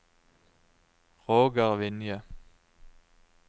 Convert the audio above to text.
Roger Vinje